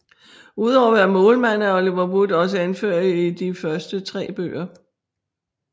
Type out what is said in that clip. Udover at være Målmand er Oliver Wood også anfører i de første 3 bøger